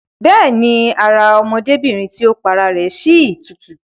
Bẹ́ẹ̀ni, ara ọmọdébìrin tí ó pa ara rẹ̀ si tutù